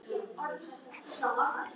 Flest ský á Mars eru úr frosnu koltvíildi.